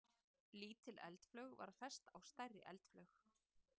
Lítil eldflaug var fest á stærri eldflaug.